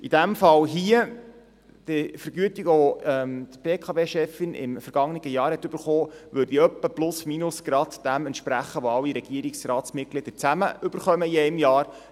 In diesem Fall hier entspricht die Vergütung, die die BKWChefin letztes Jahr erhalten hat, in etwa plus/minus gerade dem entsprechen, was alle Regierungsratsmitglieder in einem Jahr zusammen erhalten.